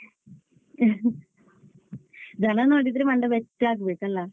ಜನ ನೋಡಿದ್ರೆ ಮಂಡೆ ಬೆಚ್ಚ ಆಗ್ಬೇಕಲ್ಲ.